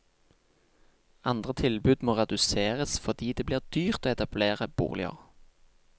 Andre tilbud må reduseres fordi det blir dyrt å etablere boliger.